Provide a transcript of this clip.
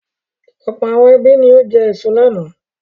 Ọ̀pọ̀ àwọn ẹbí ni ó jẹ èso lánàá.